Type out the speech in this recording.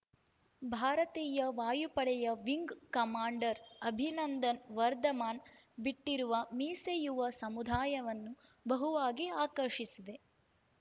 ಭಾರತೀಯ ವಾಯುಪಡೆಯ wing commander Abhinandan Varthaman ಬಿಟ್ಟಿರುವ ಮೀಸೆ ಯುವ ಸಮುದಾಯವನ್ನು ಬಹುವಾಗಿ ಆಕರ್ಷಿಸಿದೆ